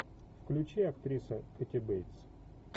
включи актриса кэти бейтс